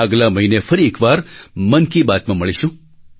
આગલા મહિને ફરી એક વાર મન કી બાતમાં મળીશું